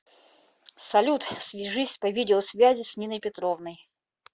салют свяжись по видеосвязи с ниной петровной